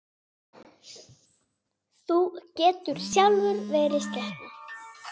Þú getur sjálfur verið skepna!